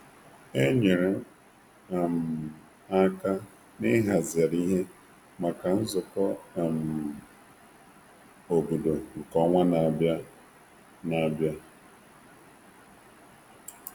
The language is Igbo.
E nyere m onwe m n'inye aka rụ ọrụ ịhazi ihe nde ọmụmụ maka ọgbakọ obodo nke ọnwa ọzọ na a bịa abịa.